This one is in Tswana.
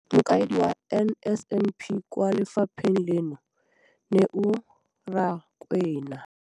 Mokaedi wa NSNP kwa lefapheng leno, Neo Rakwena,